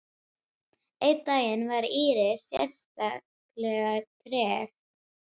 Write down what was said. Einn daginn var Íris sérlega treg.